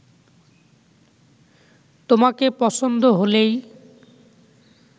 তোমাকে পছন্দ হলেই